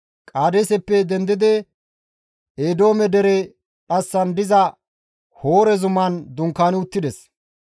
Qaadeeseppe dendidi Eedoome dere dhassan diza Hoore zuman dunkaani uttides.